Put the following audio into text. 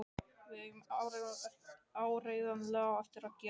Við eigum áreiðanlega eftir að gera það.